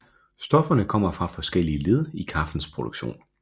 Stofferne kommer fra forskellige led i kaffens produktion